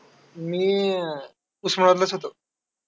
डॉक्टरांमुळे प्राण वाचतात, विविध आजार बरे करतात, Doctor म्हणजेच अअ् एक